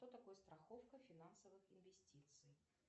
кто такой страховка финансовых инвестиций